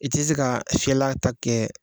I te se ka fiyɛla ta kɛ